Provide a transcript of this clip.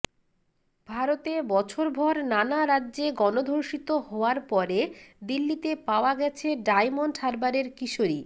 ভারতে বছরভর নানা রাজ্যে গণধর্ষিত হওয়ার পরে দিল্লিতে পাওয়া গেছে ডায়মন্ড হারবারের কিশোরী